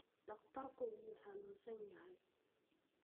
Dhakhtarku wuu hanunsanyahay.